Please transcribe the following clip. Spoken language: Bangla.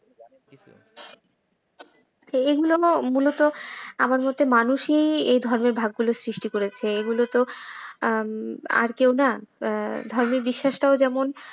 এগুলো না মূলত আমার মতে মানুষই এই ধর্মের ভাগগুলি সৃষ্টি করেছে। এগুলো তো আর কেউ না ধর্মের বিশ্বাসটাও যেমন,